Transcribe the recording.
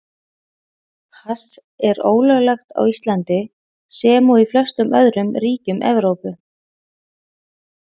Hass er ólöglegt á Íslandi, sem og í flestum öðrum ríkjum Evrópu.